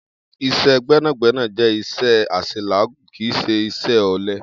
Is̩é̩ gbé̩nàgbé̩nà jé̩ is̩é̩ às̩elàágùn, kì í s̩e is̩é̩ ò̩le̩